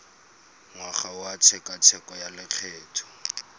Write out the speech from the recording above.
ngwaga wa tshekatsheko ya lokgetho